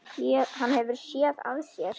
Hann hefur SÉÐ AÐ SÉR.